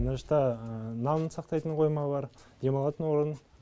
мына жақта нан сақтайтын қойма бар демалатын орын